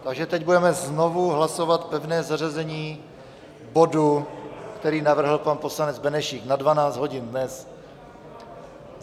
Takže teď budeme znovu hlasovat pevné zařazení bodu, který navrhl pan poslanec Benešík, na 12 hodin dnes.